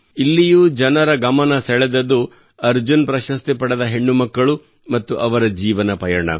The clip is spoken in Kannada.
ಇಲ್ಲಿಯೂ ಜನರ ಗಮನ ಸೆಳೆದದ್ದು ಅರ್ಜುನ್ ಪ್ರಶಸ್ತಿ ಪಡೆದ ಹೆಣ್ಣು ಮಕ್ಕಳು ಮತ್ತು ಅವರ ಜೀವನ ಪಯಣ